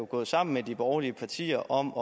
gået sammen med de borgerlige partier om